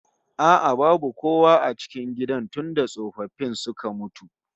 A'a babu kowa a cikin gidan tunda tsofaffin suka mutu